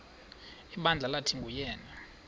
ibandla lathi nguyena